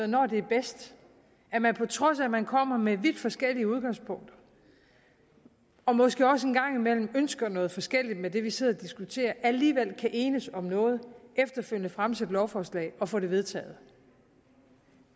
når det er bedst at man på trods af at man kommer med vidt forskelligt udgangspunkt og måske også en gang imellem ønsker noget forskelligt med det vi sidder og diskuterer alligevel kan enes om noget efterfølgende fremsætte lovforslag og få det vedtaget